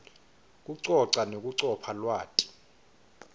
kucoca nekucopha lwati